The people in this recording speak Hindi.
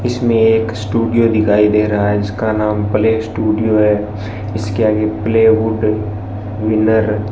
इसमें एक स्टूडियो दिखाई दे रहा है इसका नाम प्ले स्टूडियो है इसके आगे प्ले वुड विनर --